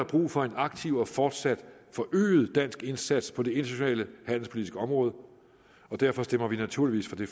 brug for en aktiv og fortsat forøget dansk indsats på det internationale handelspolitiske område og derfor stemmer vi naturligvis for det